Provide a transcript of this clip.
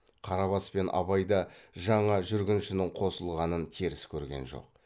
қарабас пен абай да жаңа жүргіншінің қосылғанын теріс көрген жоқ